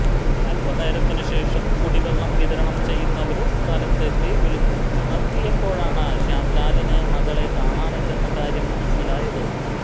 അല്പനേരത്തിന് ശേഷം കുടിവെള്ളം വിതരണം ചെയ്യുന്നവര് സ്ഥലത്തെത്തി വിളിച്ചുണര്ത്തിയപ്പോഴാണ് ശ്യാംലാലിന് മകളെ കാണാനില്ലെന്ന കാര്യം മനസിലായത്